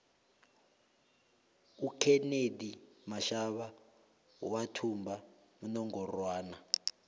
ukenethi mashaba wathumba inongorwana